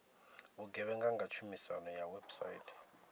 vhugevhenga nga tshumiso ya website